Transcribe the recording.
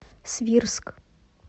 свирск